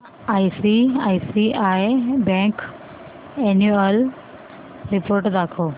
ICICI bank annual report दाखव